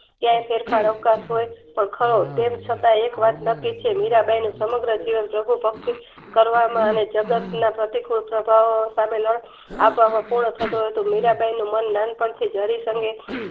કાયા ફેરફાર અવકાશ હોય તો ખવ તેમ છતાં એક્વાત નાકીછે મીરાંબાઈનું સમગ્ર જીવન પ્રભુ ભક્તિ કરવામાં અને જગતના અ અ સામે લાડવા આ પાક પૂર્ણ થતું હતું મીરાંબાઈનું મન નાન પણ થી હરિ